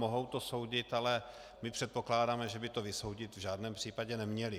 Mohou to soudit, ale my předpokládáme, že by to vysoudit v žádném případě neměli.